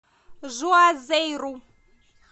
жуазейру